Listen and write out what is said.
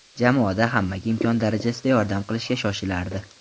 Jamoada hammaga imkon darajasida yordam qilishga shoshilardi.